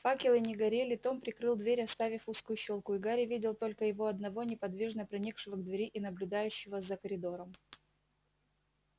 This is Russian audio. факелы не горели том прикрыл дверь оставив узкую щёлку и гарри видел только его одного неподвижно приникшего к двери и наблюдающего за коридором